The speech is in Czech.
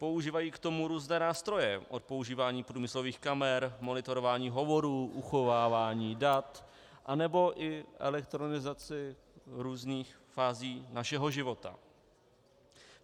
Používají k tomu různé nástroje, od používání průmyslových kamer, monitorování hovorů, uchovávání dat, anebo i elektronizaci různých fází našeho života.